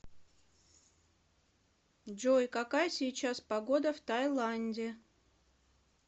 джой какая сейчас погода в тайланде